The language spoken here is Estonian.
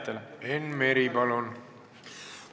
Enn Meri, palun!